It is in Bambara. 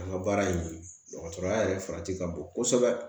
An ka baara in dɔgɔtɔrɔya yɛrɛ farati ka bon kosɛbɛ